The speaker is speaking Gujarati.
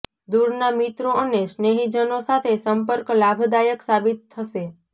દૂરના મિત્રો અને સ્નેહીજનો સાથે સંપર્ક લાભદાયક સાબિત થશે